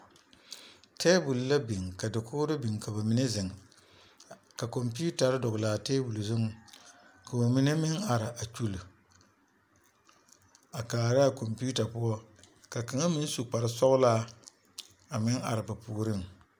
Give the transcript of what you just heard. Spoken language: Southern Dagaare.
Teebol la biŋ ka dakogiri biŋ ka bamine zeŋ ka kɔmpiitare dɔgele a teebol zuŋ k'o mine meŋ are a kyuli a kaara a kɔmpiita poɔ ka kaŋa meŋ su kpare sɔgelaa a meŋ are ba puoriŋ.